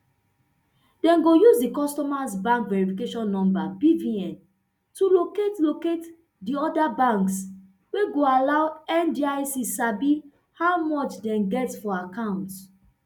dem go use di customers bank verification number bvn to locate locate di oda banks wey go allow ndic sabi how much dem get for account